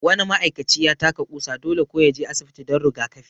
Wani ma'aikaci ya taka ƙusa, dole kuwa ya je asibiti don rigakafi